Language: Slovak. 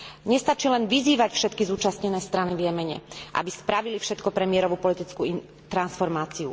Nestačí len vyzývať všetky zúčastnené strany v Jemene, aby spravili všetko pre mierovú politickú transformáciu.